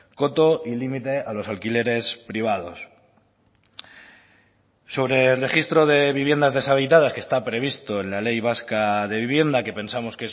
coto y limite a los alquileres privados sobre el registro de viviendas deshabitadas que está previsto en la ley vasca de vivienda que pensamos